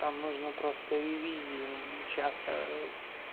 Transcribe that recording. там нужно просто ревизии час